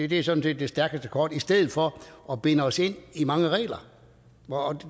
det er sådan set det stærkeste kort i stedet for at binde os ind i mange regler